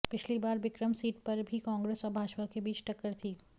पिछली बार बिक्रम सीट पर भी कांग्रेस और भाजपा के बीच टक्कर थी